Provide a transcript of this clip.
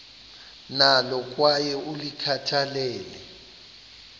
nalo kwaye ulikhathalele